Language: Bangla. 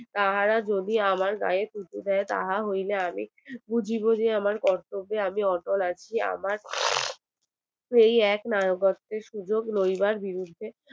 তাহারা যদি আমার গাই থুতু দেয় তাহা হইলে আমি বুঝিব যে আমার কর্তব্যে আমি অচল আছি আমার আমার এই এক সুযোগ রইবার